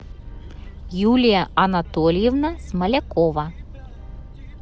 юлия анатольевна смолякова